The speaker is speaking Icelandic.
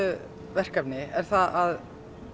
verkefni er það að